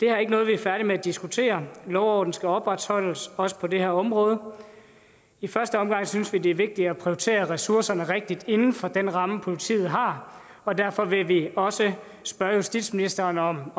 er ikke noget vi er færdige med at diskutere lov og orden skal opretholdes også på det her område i første omgang synes vi det er vigtigt at prioritere ressourcerne rigtigt inden for den ramme politiet har og derfor vil vi også spørge justitsministeren om om